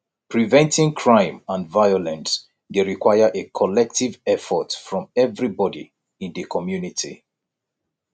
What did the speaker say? preventing crime and violence dey require a collective effort from everybody in di community